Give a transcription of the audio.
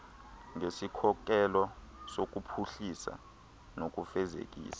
ngesikhokelo sokuphuhlisa nokufezekisa